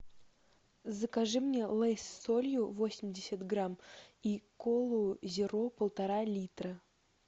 закажи мне лейс с солью восемьдесят грамм и колу зеро полтора литра